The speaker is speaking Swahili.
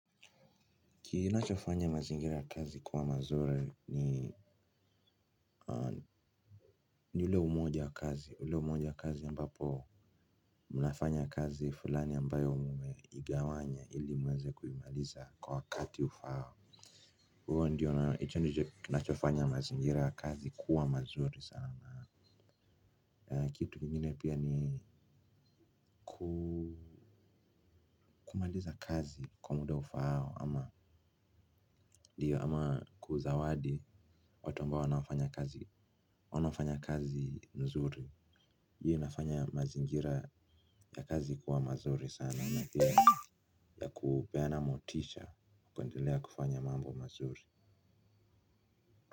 Kinachofanya mazingira kazi kuwa mazuri ni ni ule umoja ya kazi ule umoja ya kazi ambapo mnafanya kazi fulani ambayo ume igawanya ili mweze kuimaliza kwa wakati ufao huo ndiyo nachofanya mazingira ya kazi kuwa mazuri sana kitu kingine pia ni kumaliza kazi kwa muda ufao ama ndiyo ama kuzawadi watu ambao wanafanya kazi wanafanya kazi mzuri hii inafanya mazingira ya kazi kuwa mazuri sana na hiyo ya kupeana motisha kuendelea kufanya mambo mazuri.